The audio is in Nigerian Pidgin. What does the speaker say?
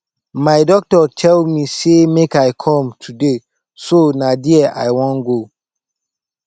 my doctor tell me say make i come today so na there i wan go